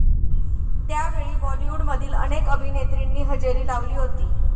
त्यावेळी बॉलिवूडमधील अनेक अभिनेत्रींनी हजेरी लावली होती.